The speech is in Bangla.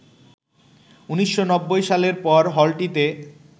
১৯৯০ সালের পর হলটিতে